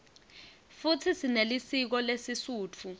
futsi sinelisiko lesisutfu